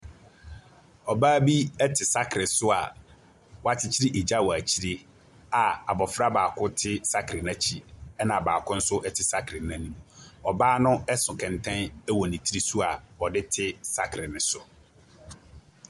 Ɔbaa bi te sakere so a wakyekyere egya wɔ akyire a a abɔfra baako te sakere no akyi, ɛna baako nso te sakere no anim. Ɔbaa no so kɛntɛn wɔ ne ti so a ɔde te sakere no so.